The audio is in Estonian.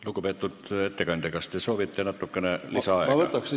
Lugupeetud ettekandja, kas te soovite natukene lisaaega?